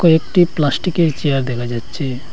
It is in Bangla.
কয়েকটি প্লাস্টিকের চেয়ার দেখা যাচ্ছে।